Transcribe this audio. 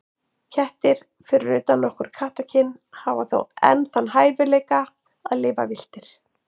Kettir, fyrir utan nokkur kattakyn, hafa þó enn þann hæfileika að lifa villtir.